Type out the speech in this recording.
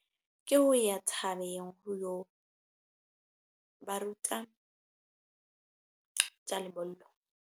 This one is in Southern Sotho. Ke ho ya thabeng ho yo ba ruta tja lebollo.